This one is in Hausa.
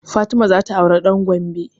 Fatima za ta aure ɗan Gombe